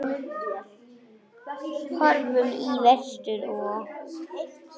Horfðu í vestur og.